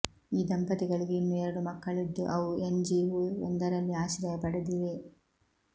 ಈ ದಂಪತಿಗಳಿಗೆ ಇನ್ನು ಎರಡು ಮಕ್ಕಳಿದ್ದು ಅವು ಎನ್ ಜಿ ಓ ಒಂದರಲ್ಲಿ ಆಶ್ರಯ ಪಡೆದಿವೆ